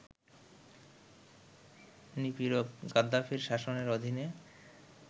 নিপীড়ক গাদ্দাফির শাসনের অধীনে